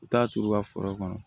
U t'a turu u ka foro kɔnɔ